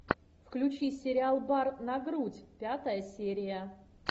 включи сериал бар на грудь пятая серия